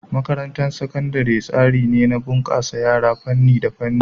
Makarantar Sakandare wani tsari ne na bunkasa yara a fannin ilimi.